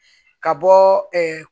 Ka bɔ